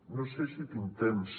no sé si tinc temps